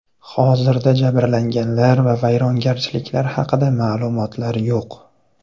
Hozirda jabrlanganlar va vayronagarchiliklar haqida ma’lumotlar yo‘q.